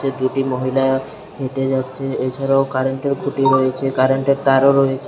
দুটি মহিলা হেঁটে যাচ্ছে এছাড়াও কারেন্টের খুঁটি রয়েছে কারেন্টের তারও রয়েছে।